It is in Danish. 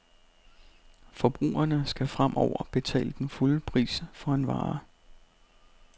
Forbrugerne skal fremover betale den fulde pris for en vare.